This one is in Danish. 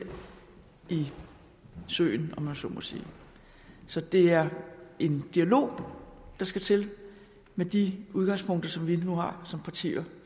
søen om man så må sige så det er en dialog der skal til med de udgangspunkter som vi nu har som partier